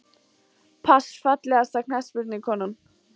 pass Fallegasta knattspyrnukonan?